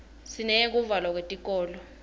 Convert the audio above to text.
sineyekuvalwa kwetikolo